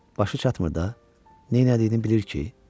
Başı çatmır da, nə elədiyini bilir ki?